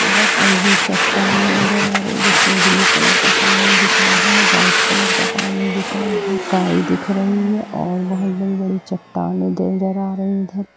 और भी चट्टान नजर आ रही है जिसमे ब्लू बड़ा सा पानी दिख रहा है व्हाइट कलर का पानी दिख रही है गाय दिख रही है और बहुत बड़े-बड़े चट्टानें नजर आ रही है।